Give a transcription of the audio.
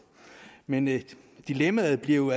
men dilemmaet bliver jo